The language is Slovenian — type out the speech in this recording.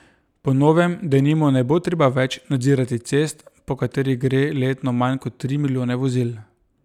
Po novem denimo ne bo treba več nadzirati cest, po katerih gre letno manj kot tri milijone vozil.